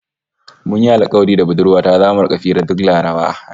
Mun yi alkawari da budurwa ta zamu rika hira duk Laraba